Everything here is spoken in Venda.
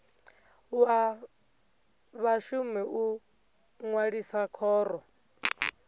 wa vhashumi u ṅwalisa khoro